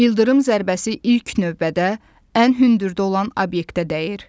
Yıldırım zərbəsi ilk növbədə ən hündürdə olan obyektə dəyir.